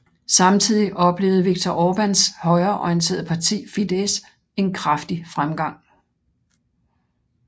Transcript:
Samtidig oplevde Viktor Orbáns højreorienterede parti Fidesz en kraftig fremgang